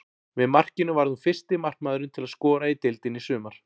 Með markinu varð hún fyrsti markmaðurinn til að skora í deildinni í sumar.